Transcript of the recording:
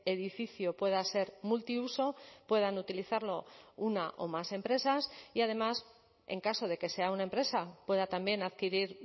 edificio pueda ser multiuso puedan utilizarlo una o más empresas y además en caso de que sea una empresa pueda también adquirir